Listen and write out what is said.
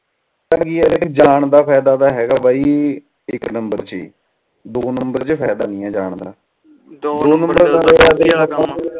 ਜਾਨ ਦਾ ਫਾਇਦਾ ਤਾ ਹੈਗਾ ਬਾਈ ਇਕ ਨੰਬਰ ਚ ਹੀ ਦੋ ਨੰਬਰ ਚ ਫਾਇਦਾ ਨਾਈ ਆ ਜਾਨ ਦਾ